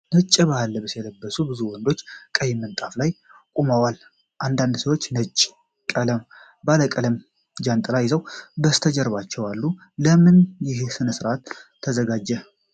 ነጭ የባህል ልብስ የለበሱ ብዙ ወንዶች፣ ቀይ ምንጣፍ ላይ ቆመዋል። አንዳንድ ሰዎች ነጭ እና ባለቀለም ጃንጥላዎች ይዘው ከበስተጀርባው አሉ። ለምን ይህ ሥነ ሥርዓት ተዘጋጀ?